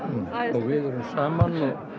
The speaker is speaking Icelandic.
við erum saman